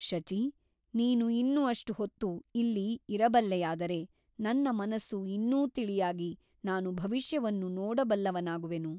ಶಚಿ ನೀನು ಇನ್ನು ಅಷ್ಟು ಹೊತ್ತು ಇಲ್ಲಿ ಇರಬಲ್ಲೆಯಾದರೆ ನನ್ನ ಮನಸ್ಸು ಇನ್ನೂ ತಿಳಿಯಾಗಿ ನಾನು ಭವಿಷ್ಯವನ್ನು ನೋಡಬಲ್ಲವನಾಗುವೆನು.